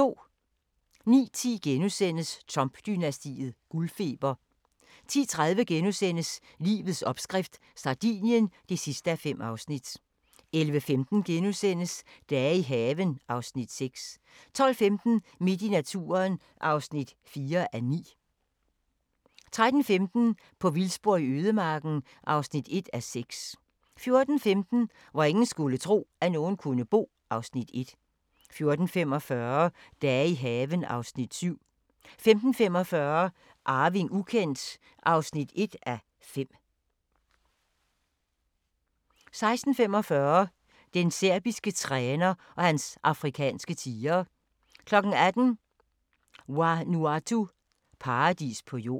09:10: Trump-dynastiet: Guldfeber * 10:30: Livets opskrift – Sardinien (5:5)* 11:15: Dage i haven (Afs. 6)* 12:15: Midt i naturen (4:9) 13:15: På vildspor i ødemarken (1:6) 14:15: Hvor ingen skulle tro, at nogen kunne bo (Afs. 1) 14:45: Dage i haven (Afs. 7) 15:45: Arving ukendt (1:5) 16:45: Den serbiske træner og hans afrikanske tigre 18:00: Vanuatu – paradis på jord